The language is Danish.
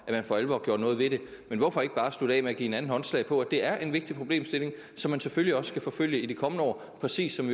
at man for alvor gjorde noget ved det men hvorfor ikke bare slutte af med at give hinanden håndslag på at det er en vigtig problemstilling som man selvfølgelig også skal forfølge i de kommende år præcis som